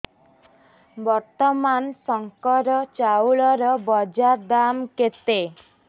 ବର୍ତ୍ତମାନ ଶଙ୍କର ଚାଉଳର ବଜାର ଦାମ୍ କେତେ